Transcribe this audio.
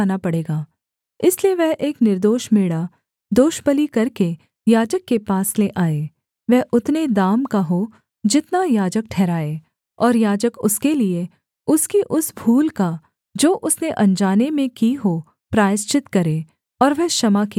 इसलिए वह एक निर्दोष मेढ़ा दोषबलि करके याजक के पास ले आए वह उतने दाम का हो जितना याजक ठहराए और याजक उसके लिये उसकी उस भूल का जो उसने अनजाने में की हो प्रायश्चित करे और वह क्षमा किया जाएगा